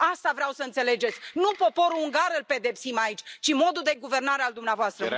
Asta vreau să înțelegeți, nu poporul ungar îl pedepsim aici, ci modul de guvernare al dumneavoastră.